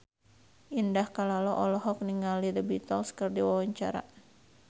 Indah Kalalo olohok ningali The Beatles keur diwawancara